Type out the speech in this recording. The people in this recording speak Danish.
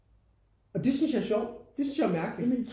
Og det synes jeg er sjovt det synes jeg er mærkeligt